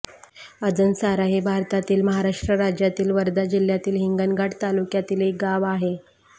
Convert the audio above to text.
आजणसारा हे भारतातील महाराष्ट्र राज्यातील वर्धा जिल्ह्यातील हिंगणघाट तालुक्यातील एक गाव आहे